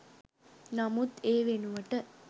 නමුත් ඒ වෙනුවට